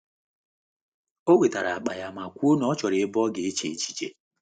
O wetara akpa ya ma kwuo na ọ chọrọ ebe ọ ga eche echiche.